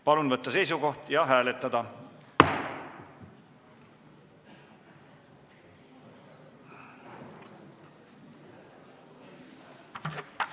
Palun võtta seisukoht ja hääletada!